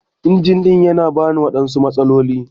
Injin ɗin yana bani waɗansu matsaloli.